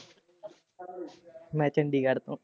ਮੈਂ ਚੰਡੀਗੜ੍ਹ ਤੋਂ।